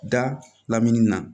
Da lamini na